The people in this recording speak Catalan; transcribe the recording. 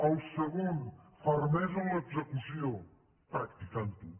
el segon fermesa en l’execució practicant ho